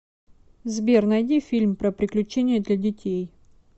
сбер найди фильм про приключения для детей